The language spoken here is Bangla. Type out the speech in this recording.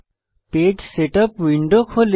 পেজ সেটআপ উইন্ডো খোলে